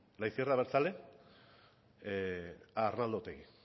la izquierda abertzale a arnaldo otegi